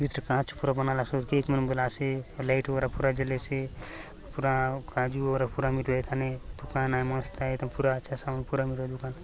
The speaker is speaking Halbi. कांच ऊपरे बनालासोत केक मन बले आसे आउर लाइट बगैरह पूरा जलेसे पूरा काजू वगैरह पूरा मिलुआए ए थाने दुकान आय मस्त आय ए थाने पूरा अच्छा सामान पूरा मिरुआय ए दुकान --